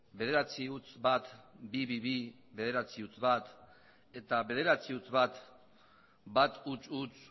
bederatziehun eta bat berrehun eta hogeita bi bederatziehun eta bat eta bederatziehun eta bat ehun